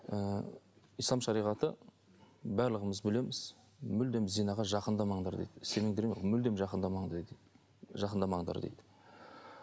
ыыы ислам шариғаты барлығымыз білеміз мүлдем зинаға жақындамаңдар дейді мүлдем жақындамаңдар дейді жақындамаңдар дейді